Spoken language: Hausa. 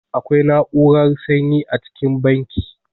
Akwai na'urar sanyi a cikin banki.